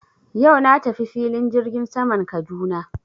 Yau na tafi filin jirgin saman Kaduna.